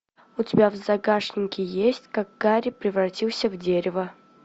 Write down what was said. у тебя в загашнике есть как гарри превратился в дерево